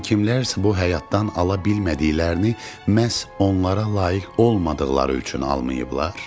Yəni kimlərsə bu həyatdan ala bilmədiklərini məhz onlara layiq olmadıqları üçün almayıblar?